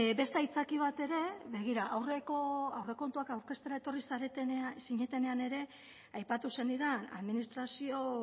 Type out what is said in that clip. beste aitzakia bat ere begira aurreko aurrekontuak aurkeztera etorri zinetenean ere aipatu zenidan administrazio